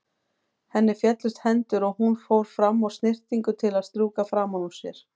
Henni féllust hendur og hún fór fram á snyrtingu til að strjúka framan úr sér.